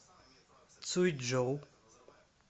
цюйчжоу